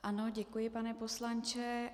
Ano, děkuji pane poslanče.